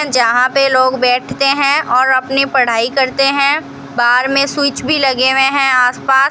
यहां पे लोग बैठते हैं और अपनी पढ़ाई करते हैं बाहर में स्विच भी लगे हुए हैं आस पास।